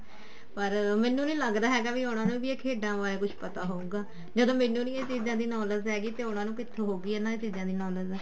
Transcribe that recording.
ਪਰ ਮੈਨੂੰ ਨੀ ਲੱਗਦਾ ਹੈਗਾ ਵੀ ਉਹਨਾ ਨੂੰ ਖੇਡਾਂ ਬਾਰੇ ਕੁੱਝ ਪਤਾ ਹੋਊਗਾ ਜਦੋਂ ਮੈਨੂੰ ਨੀ ਇਹ ਚੀਜ਼ਾਂ ਦੀ knowledge ਹੈਗੀ ਤੇ ਉਹਨਾ ਨੂੰ ਕਿੱਥੋਂ ਹੋਏਗੀ ਇਹਨਾ ਚੀਜ਼ਾਂ ਦੀ knowledge